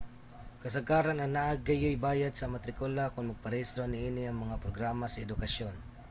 kasagaran anaa gayuy bayad sa matrikula kon magparehistro niini nga mga programa sa edukasyon